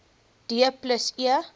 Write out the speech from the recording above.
d plus e